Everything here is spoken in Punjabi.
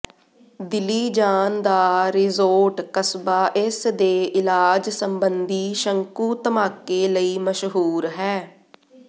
ਦਿਲੀਜਾਨ ਦਾ ਰਿਜ਼ੋਰਟ ਕਸਬਾ ਇਸ ਦੇ ਇਲਾਜ ਸੰਬੰਧੀ ਸ਼ੰਕੂ ਧਮਾਕੇ ਲਈ ਮਸ਼ਹੂਰ ਹੈ